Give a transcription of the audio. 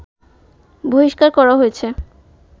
বহিষ্কার করা হয়েছে